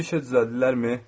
Bir işə düzəldilərmi?